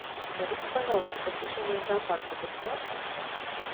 скажите пожалуйста посещение зоопарка бесплатно